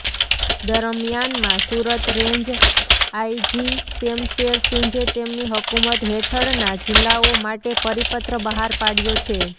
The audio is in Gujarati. દરમિયાનમાં સુરત રેન્જ આઇજી શેમશેર સિંઘે તેમની હકૂમત હેઠળના જિલ્લાઓ માટે પરિપત્ર બહાર પાડયો છે